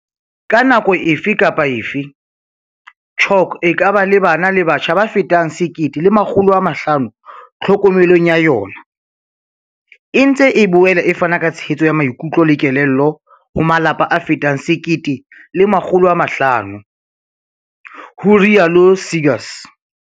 "Ka nako efe kapa efe, CHOC e ka ba le bana le batjha ba fetang 1 500 tlhokomelong ya yona, e ntse e boela e fana ka tshehetso ya maikutlo le kelello ho malapa a fetang 1 500," ho rialo Seegers.